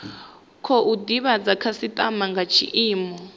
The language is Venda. khou divhadza dzikhasitama nga tshiimo